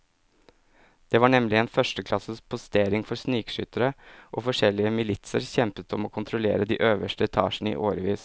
Det var nemlig en førsteklasses postering for snikskyttere, og forskjellige militser kjempet om å kontrollere de øverste etasjene i årevis.